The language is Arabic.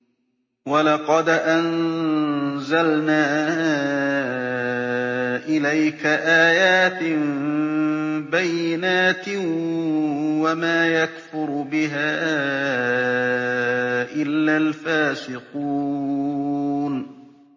وَلَقَدْ أَنزَلْنَا إِلَيْكَ آيَاتٍ بَيِّنَاتٍ ۖ وَمَا يَكْفُرُ بِهَا إِلَّا الْفَاسِقُونَ